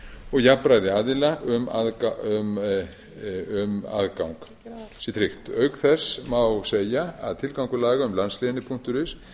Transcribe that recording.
og jafnræði aðila um aðgang sé tryggt auk þess má segja að tilgangur laga um landslénið is sé